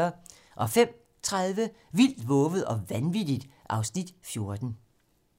05:30: Vildt, vovet og vanvittigt (Afs. 14)